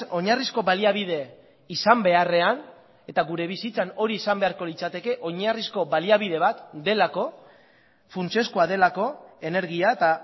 oinarrizko baliabide izan beharrean eta gure bizitzan hori izan beharko litzateke oinarrizko baliabide bat delako funtsezkoa delako energia eta